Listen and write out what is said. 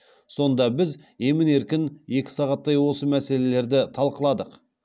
сонда біз емін еркін екі сағаттай осы мәселелерді талқыладық